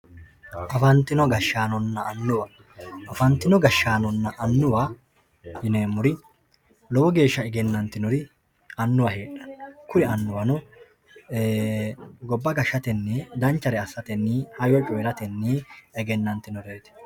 Afantino gashanona anuwa afantino gashanona anuwa yinemori lowo geesha egenanitinori goba gashateni danchare asateni lowogee afantano